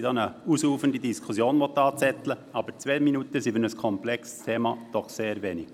Ich möchte nicht eine ausufernde Diskussion antreten, aber zwei Minuten sind für ein komplexes Thema doch ein bisschen wenig.